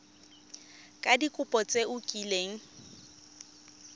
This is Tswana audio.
ka dikopo tse o kileng